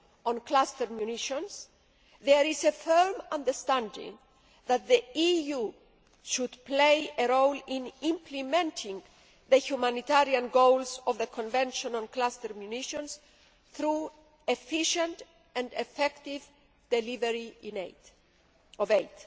on Cluster Munitions, there is a firm understanding that the EU should play a role in implementing the humanitarian goals of the Convention on Cluster Munitions through efficient and effective delivery of aid.